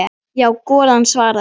Já, golan svaraði hann.